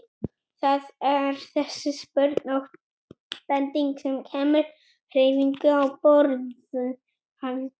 Það er þessi spurn og bending sem kemur hreyfingu á borðhaldið.